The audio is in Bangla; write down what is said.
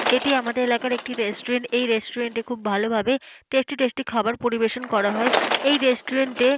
এটি আমাদের এলাকার রেস্টুরেন্ট । এই রেস্টুরেন্ট এ খুব ভালো ভাবে টেস্টি টেস্টি খাবার পরিবেশন করা হয়। এই রেস্টুরেন্ট -এ --